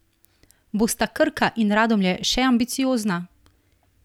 Bosta Krka in Radomlje še ambiciozna?